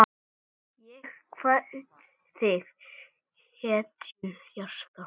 Erla kvaddi fyrir um ári.